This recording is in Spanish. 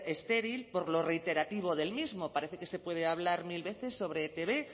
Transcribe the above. estéril por lo reiterativo del mismo parece que se puede hablar mil veces sobre e i te be